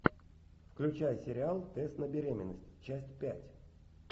включай сериал тест на беременность часть пять